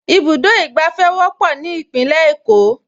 Ibùdó ìgbàfẹ́ wọ́pọ̀ ní Ìpínlẹ̀ Èkó